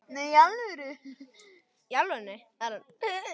Yfir hverju get ég kvartað?